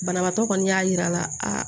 Banabaatɔ kɔni y'a yira a